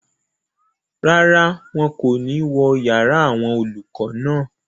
Rárá, wọn kò ní wó yàrá àwọn olùkọ́ náà